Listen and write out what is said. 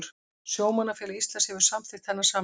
Sjómannafélag Íslands hefur samþykkt þennan samning